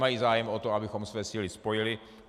Mají zájem o to, abychom své síly spojili.